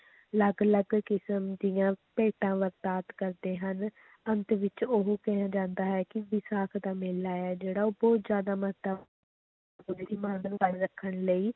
ਅਲੱਗ ਅਲੱਗ ਕਿਸ਼ਮ ਦੀਆਂ ਭੇਟਾਂ ਕਰਦੇ ਹਨ, ਅੰਤ ਵਿੱਚ ਇਹ ਕਿਹਾ ਜਾਂਦਾ ਹੈ ਕਿ ਵਿਸਾਖ ਦਾ ਮੇਲਾ ਹੈ ਜਿਹੜਾ ਉਹ ਬਹੁਤ ਜ਼ਿਆਦਾ ਰੱਖਣ ਲਈ